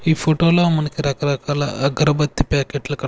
ఈ ఫోటోలో మనకి రకరకాల అగరబత్తి ప్యాకెట్లు క--